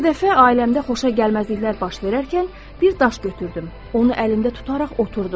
Bir dəfə ailəmdə xoşagəlməzliklər baş verərkən, bir daş götürdüm, onu əlimdə tutaraq oturdum.